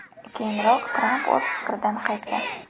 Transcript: Keyinroq Tramp o‘z fikridan qaytgan .